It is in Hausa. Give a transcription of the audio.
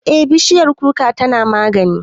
Eh, bishiyar kuka tana magani